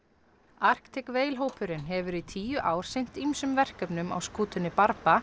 Arctic Whale hópurinn hefur í tíu ár sinnt ýmsum verkefnum á skútunni